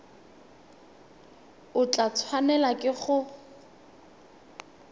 o tla tshwanelwa ke go